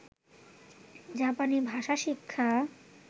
জাপানি ভাষা শিক্ষা